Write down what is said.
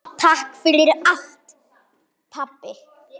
Takk fyrir allt pabbi.